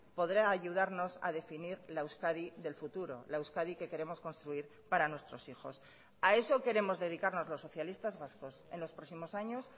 podrá ayudarnos a definir la euskadi del futuro la euskadi que queremos construir para nuestros hijos a eso queremos dedicarnos los socialistas vascos en los próximos años